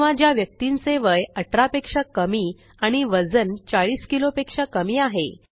किंवा ज्या व्यक्तींचे वय18 पेक्षा कमी आणि वजन 40किलो पेक्षा कमी आहे